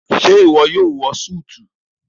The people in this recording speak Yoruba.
ṣe iwọ yóò wọ Súìtì?